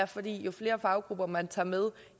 fordi jo flere faggrupper man tager med